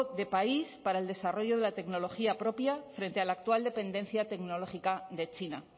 de país para el desarrollo de la tecnología propia frente a la actual dependencia tecnológica de china